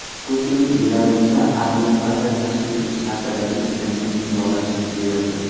Putin Belarusda aviabaza tashkil etish haqidagi bitimni imzolashni buyurdi.